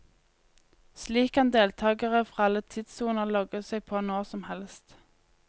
Slik kan deltagere fra alle tidssoner logge seg på når som helst.